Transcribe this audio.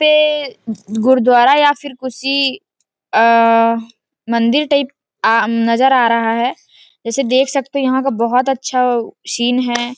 ये गुरद्वारा या फिर किसी अ मंदिर टाइप आ नज़र आ रहा है जैसे देख सकते यहाँ का बहोत अच्छा सीन है।